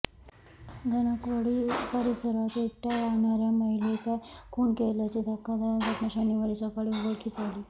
धनकवडी परिसरात एकट्या राहणाऱ्या महिलेचा खून केल्याची धक्कादायक घटना शनिवारी सकाळी उघडकीस आली